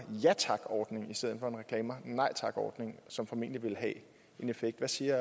ja tak ordning i stedet for en reklamer nej tak ordning som formentlig ville have en effekt hvad siger